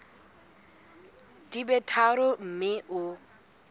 di be tharo mme o